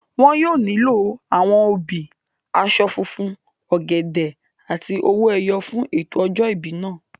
Wọn yóò nílò àwọn obì, aṣọ funfun, ọ̀gẹ̀dẹ̀ àti owó ẹyọ fún ètò ọjọ́ ìbí náà